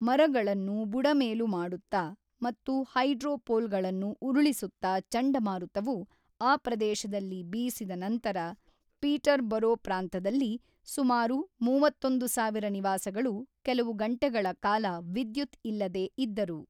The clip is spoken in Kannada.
ಮರಗಳನ್ನು ಬುಡಮೇಲು ಮಾಡುತ್ತಾ, ಮತ್ತು ಹೈಡ್ರೋ ಪೋಲ್‌ಗಳನ್ನು ಉರುಳಿಸುತ್ತಾ ಚಂಡಮಾರುತವು ಆ ಪ್ರದೇಶದಲ್ಲಿ ಬೀಸಿದ ನಂತರ, ಪೀಟರ್‌ಬರೋ ಪ್ರಾಂತದಲ್ಲಿ ಸುಮಾರು ಮೂವತ್ತೊಂದು ಸಾವಿರ ನಿವಾಸಗಳು ಕೆಲವು ಗಂಟೆಗಳ ಕಾಲ ವಿದ್ಯುತ್ ಇಲ್ಲದೆ ಇದ್ದರು.